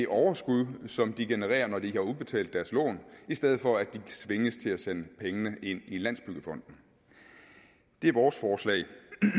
overskud som de genererer når de ikke har udbetalt deres lån i stedet for at de tvinges til at sende pengene ind i landsbyggefonden det er vores forslag